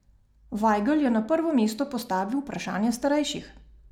Vajgl je na prvo mesto postavil vprašanje starejših.